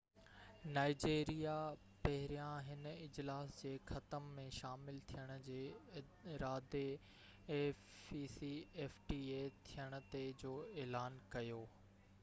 Nigeria پهريان هن اجلاس جي ختم ٿيڻ تي afcfta ۾ شامل ٿيڻ جي ارادي جو اعلان ڪيو